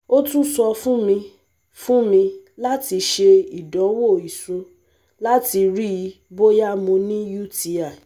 o tun sọ fun mi fun mi lati ṣe idanwo iṣu lati rii boya Mo ni UTI